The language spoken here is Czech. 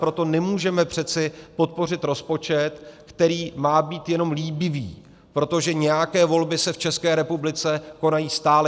Proto nemůžeme přece podpořit rozpočet, který má být jenom líbivý, protože nějaké volby se v České republice konají stále.